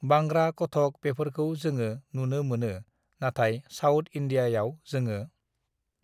बांग्रा कथक बेफोरखौ जोङो नुनो मोनो नाथाय साउथ इण्डिया (South India) आव जोङो